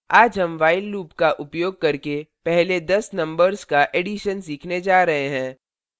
आज हम while loop का उपयोग करके पहले 10 numbers का एडिशन सीखने जा रहे हैं